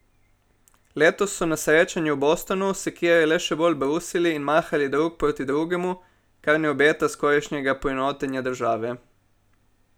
Letos so na srečanju v Bostonu sekire le še bolj brusili in mahali drug proti drugemu, kar ne obeta skorajšnjega poenotenja države.